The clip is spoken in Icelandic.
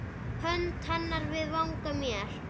Hönd hennar við vanga mér